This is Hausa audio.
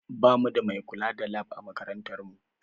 Ba mu da mai kula da Lab a makarantar mu